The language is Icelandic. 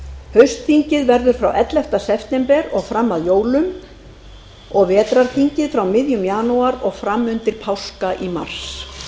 haustþingið verður frá ellefta september og fram að jólum og vetrarþingið frá miðjum janúar og fram undir páska í mars